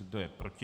Kdo je proti?